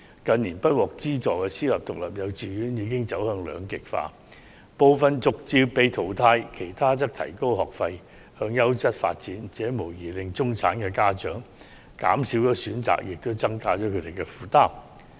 近年不獲資助的私立獨立幼稚園已走向兩極化，部分逐漸被淘汰，其他則提高學費，向優質教育的方向發展，這無疑令中產家長的選擇減少，亦增加了他們的負擔。